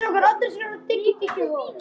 spurði biskup.